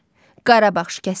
Qarabağ şikəstəsi.